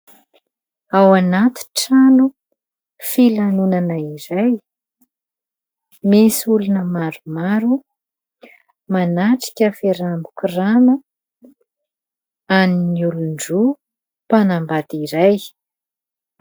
Ao anaty trano filanonana iray, misy olona maromaro manatrika fiarahana mikorana an'ny olon-droa, mpanambady iray.